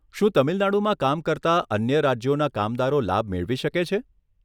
શું તમિલનાડુમાં કામ કરતા અન્ય રાજ્યોના કામદારો લાભ મેળવી શકે છે?